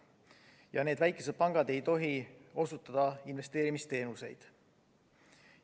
Sellised väikesed pangad ei tohi osutada investeerimisteenuseid.